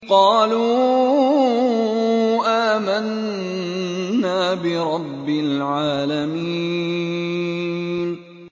قَالُوا آمَنَّا بِرَبِّ الْعَالَمِينَ